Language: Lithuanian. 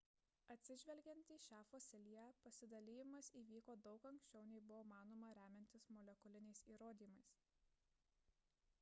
atsižvelgiant į šią fosiliją pasidalijimas įvyko daug anksčiau nei buvo manoma remiantis molekuliniais įrodymais